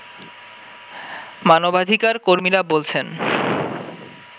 মানবাধিকার কর্মীরা বলছেন